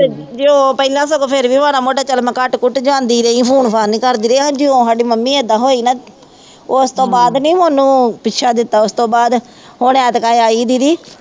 ਜੇ ਉਹ ਕਹਿੰਦਾ ਸਗੋਂ ਫੇਰ ਵੀ ਮੈਂ ਮਾੜਾ ਮੋਟਾ ਚੱਲ ਮੈਂ ਕੱਟ-ਕੁੱਟ ਜਾਂਦੀ ਰਹੀ ਹੁਣ ਕਰਦੀ ਰਹੀ ਹੈ ਜੇ ਉਹ ਸਾਡੀ ਮੰਮੀ ਏਦਾਂ ਹੋਈ ਨਾ ਉਸ ਤੋਂ ਬਾਅਦ ਨਹੀਂ ਉਹਨੂੰ ੋਪੁੱਛਾ ਦਿੱਤਾ ਉਸ ਤੋਂ ਬਾਅਦ ਹੁਣ ਦੀਦੀ